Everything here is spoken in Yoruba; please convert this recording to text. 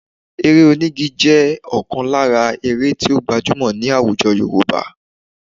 Eré onígi jẹ́ ọ̀kan lára eré tí ó gbajúmọ̀ ní àwùjọ Yorùbá